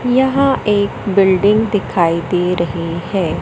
यह एक बिल्डिंग दिखाई दे रही है।